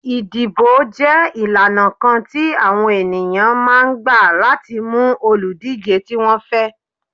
Ìdìbò jẹ́ ìlànà kan ti àwọn ènìyàn máa ń gbà láti mú òlùdíje tí wọ́n fẹ́.